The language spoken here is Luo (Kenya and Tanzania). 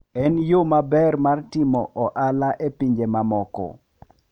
En yo maber mar timo ohala e pinje mamoko.